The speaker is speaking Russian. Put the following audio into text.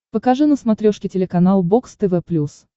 покажи на смотрешке телеканал бокс тв плюс